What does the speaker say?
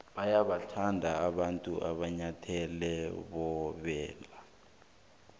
bayawathanda abantu amanyathele woboya